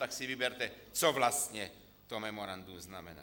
Tak si vyberte, co vlastně to memorandum znamená.